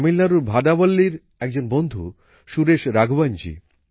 তামিলনাড়ুর ভাদাভল্লির একজন বন্ধু সুরেশ রাঘওয়নজী